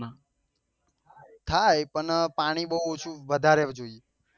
થાય પણ પાણી બઉ ઓછુ વધારે જોઈ